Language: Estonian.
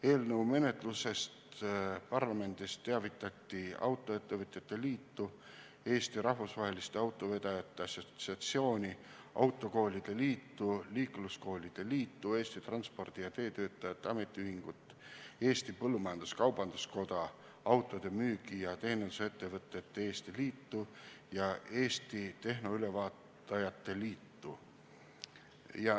Eelnõu menetlusest parlamendis teavitati Autoettevõtete Liitu, Eesti Rahvusvaheliste Autovedajate Assotsiatsiooni, Autokoolide Liitu, Liikluskoolitajate Liitu, Eesti Transpordi- ja Teetöötajate Ametiühingut, Eesti Põllumajandus-Kaubanduskoda, Autode Müügi- ja Teenindusettevõtete Eesti Liitu ja Eesti Tehnoülevaatajate Liitu.